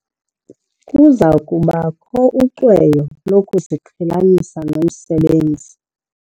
Kuza kubakho ucweyo lokuziqhelanisa nomsebenzi.